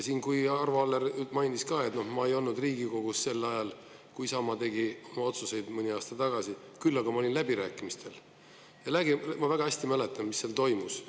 Siin, kui Arvo Aller mainis ka, et noh, ma ei olnud Riigikogus sel ajal, kui Isamaa tegi otsuseid mõni aasta tagasi, küll aga ma olin läbirääkimistel ja ma väga hästi mäletan, mis seal toimus.